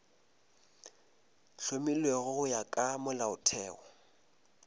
hlomilwego go ya ka molaotheo